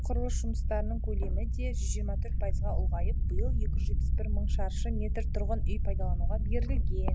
құрылыс жұмыстарының көлемі де жүз жиырма төрт пайызға ұлғайып биыл екі жүз жетпіс бір мың шаршы метр тұрғын үй пайдалануға берілген